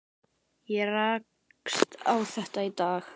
Ég rakst á þetta í dag.